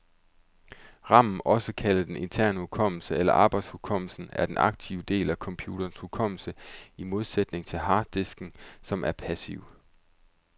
Ramen, også kaldet den interne hukommelse eller arbejdshukommelsen, er den aktive del af computerens hukommelse, i modsætning til harddisken, som er passiv.